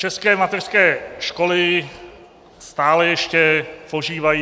České mateřské školy stále ještě požívají...